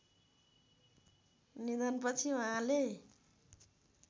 निधनपछि उहाँले